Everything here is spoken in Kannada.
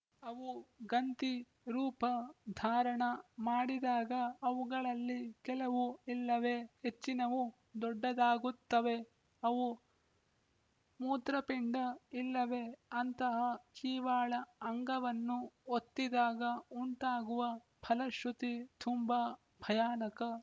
ಅವು ಗಂತಿ ರೂಪ ಧಾರಣ ಮಾಡಿದಾಗ ಅವುಗಳಲ್ಲಿ ಕೆಲವು ಇಲ್ಲವೆ ಹೆಚ್ಚಿನವು ದೊಡ್ಡದಾಗುತ್ತವೆ ಅವು ಮೂತ್ರಪಿಂಡ ಇಲ್ಲವೆ ಅಂತಹ ಜೀವಾಳ ಅಂಗವನ್ನು ಒತ್ತಿದಾಗ ಉಂಟಾಗುವ ಫಲಶೃತಿ ತುಂಬ ಭಯಾನಕ